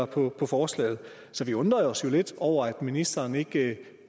på forslaget så vi undrer os jo lidt over at ministeren ikke